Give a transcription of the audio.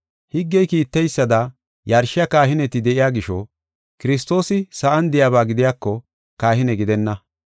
Higgey kiiteysada yarshiya kahineti de7iya gisho, Kiristoosi sa7an de7iyaba gidiyako I kahine gidenna.